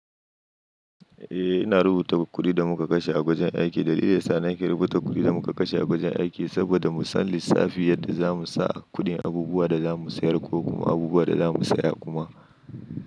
Ina rubuta kuɗin da muka kashe a wajen aiki. Dalilin sa na ke rubuta kuɗin da muka kashe a wajen aiki saboda mu san lissafi yadda zamu sa kuɗin abubuwan da zamu sayar ko kuma abubuwan da zamu saya kuma.